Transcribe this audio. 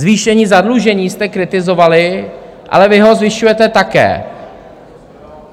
Zvýšení zadlužení jste kritizovali, ale vy ho zvyšujete také.